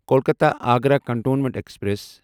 Kolkata Agra cantonment express